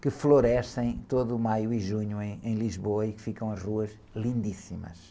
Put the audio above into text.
que florescem todo o maio e junho em, em Lisboa e que ficam as ruas lindíssimas.